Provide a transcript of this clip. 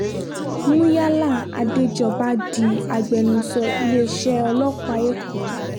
muyala adéjọba di agbẹnusọ iléeṣẹ́ ọlọ́pàá èkó